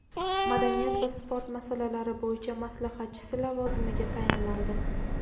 madaniyat va sport masalalari bo‘yicha maslahatchisi lavozimiga tayinlandi.